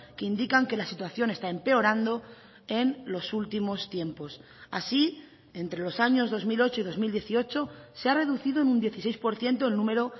que indican que la situación está empeorando en los últimos tiempos así entre los años dos mil ocho y dos mil dieciocho se ha reducido en un dieciséis por ciento el número